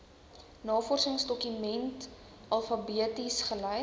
navorsingsdokumente alfabeties gelys